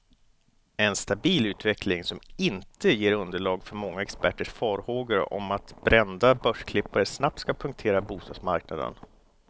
En stabil utveckling, som inte ger underlag för många experters farhågor om att brända börsklippare snabbt ska punktera bostadsmarknaden.